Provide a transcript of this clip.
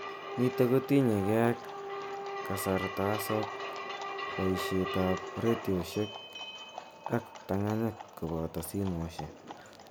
Nitok kotinyekei ak karatasok, boishet ab retioshek, ak ptang'anyit koboto simoishek.